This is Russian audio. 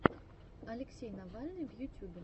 алексей навальный в ютюбе